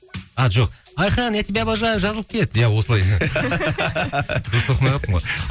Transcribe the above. а жоқ айқын я тебя обожаю жазылып кет иә осылай дұрыс оқымай қалыппын ғой